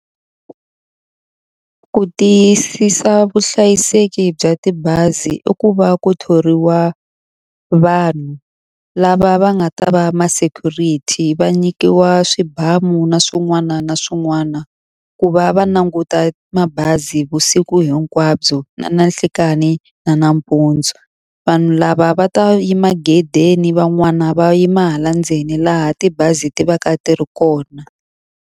Ku tiyisisa vuhlayiseki bya tibazi i ku va ku thoriwa vanhu lava va nga ta va ma-security, va nyikiwa swibamu na swin'wana na swin'wana ku va va languta mabazi vusiku hinkwabyo na nhlikani na nampundzu. Vanhu lava va ta yima gedeni, van'wana va yima hala ndzeni laha tibazi ti va ka ti ri kona.